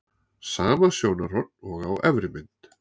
sama sjónarhorn og á efri mynd